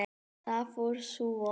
Þar fór sú von.